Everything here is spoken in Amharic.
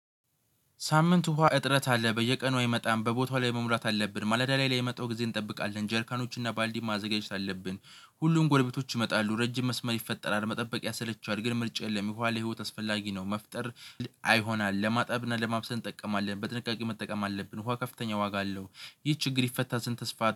ሳምንት ውሃ እጥረት አለ በየቀኑ አይመጣም በቦታው ላይ መሙላት አለብን ማለዳ ላይ የመጣው ጊዜ እንጠብቃለን ጀርካኖችን እና ባልዲን ማዘጋጀት አለብን። ሁሉም ጎረቤቶች ይመጣሉ ረጅም መስመር ይፈጠራል መጠበቅ ያሰለቻል ግን ምርጫ የለም ውኋ ለህይወት አስፈላጊ ነው። መፍጠር አይሆና። ለማጠብ እና ለማብሰል እንጠቀማለን በጥንቃቄ መጠቀም አለብን ውሃ ከፍተኛ ዋጋ አለው። ይህ ችግር ይፈታ ስንት ተስፋ